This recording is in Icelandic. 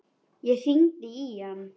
Ég hringdi í hann.